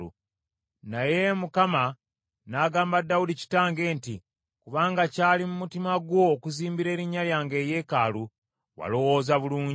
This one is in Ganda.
Naye Mukama n’agamba Dawudi kitange nti, ‘Kubanga kyali mu mutima gwo okuzimbira erinnya lyange eyeekaalu, walowooza bulungi.